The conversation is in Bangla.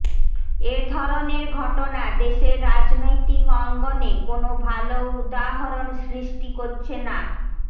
এ ধরনের ঘটনা দেশের রাজনৈতিক অঙ্গনে কোনো ভালো উদাহরণ সৃষ্টি করছে না